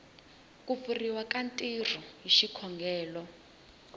kupfuriwa ka ntirho hi xikongelo